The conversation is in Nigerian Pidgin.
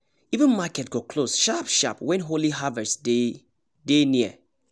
even market go close sharp-sharp when holy harvest day dey near